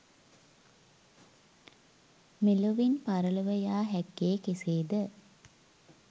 මෙලොවින් පරලොව යා හැක්කේ කෙසේද?